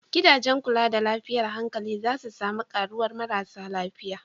Gidajen kula da lafiyar hankali za su sami karuwar marasa lafiya.